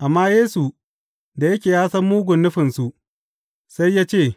Amma Yesu da yake ya san mugun nufinsu, sai ya ce,